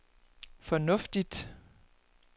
fornuftigt